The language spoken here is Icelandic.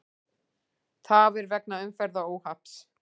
Tafir vegna umferðaróhapps